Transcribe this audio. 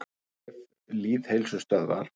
Á vef Lýðheilsustöðvar.